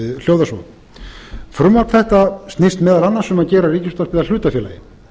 hljóðar svo frumvarp þetta snýst meðal annars um að gera ríkisútvarpið að hlutafélagi